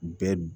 Bɛɛ b